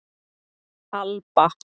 Alba